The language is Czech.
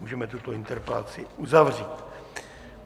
Můžeme tuto interpelaci uzavřít.